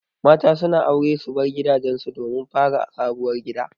Mata su na aure su bar gidajen su domin fara sabuwar gida.